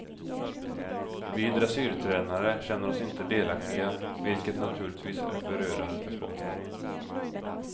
Vi dressyrtränare känner oss inte delaktiga, vilket naturligtvis är förödande för sporten.